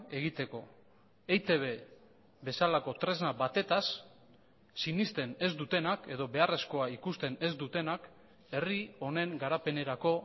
egiteko eitb bezalako tresna batetaz sinesten ez dutenak edo beharrezkoa ikusten ez dutenak herri honen garapenerako